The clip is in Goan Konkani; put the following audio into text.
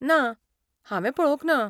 ना, हांवें पळोवंक ना.